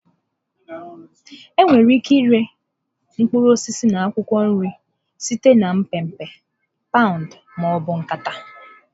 Enwere ike ịre mkpụrụ osisi na akwụkwọ nri site na mpempe, paụnd ma ọ bụ nkata.